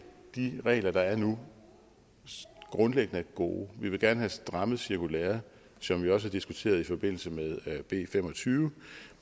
de regler der er nu grundlæggende gode vi vil gerne have strammet cirkulæret som vi også har diskuteret i forbindelse med b fem og tyve